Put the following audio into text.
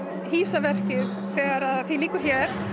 hýsa verkið þegar því lýkur hér